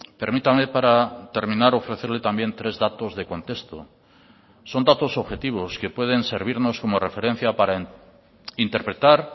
permítame para terminar ofrecerle también tres datos de contexto son datos objetivos que pueden servirnos como referencia para interpretar